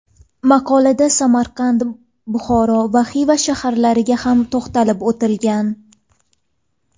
Maqolada Samarqand, Buxoro va Xiva shaharlariga ham to‘xtalib o‘tilgan.